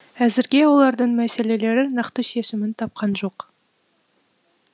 әзірге олардың мәселелері нақты шешімін тапқан жоқ